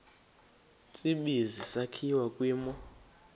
tsibizi sakhiwa kwimo